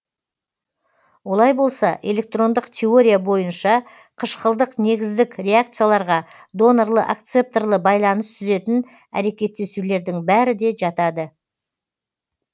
олай болса электрондық теория бойынша қышқылдық негіздік реакцияларға донорлы акцепторлы байланыс түзетін әрекеттесулердің бәрі де жатады